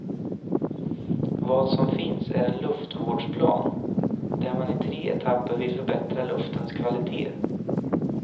Vad som finns är en luftvårdsplan, där man i tre etapper vill förbättra luftens kvalitet.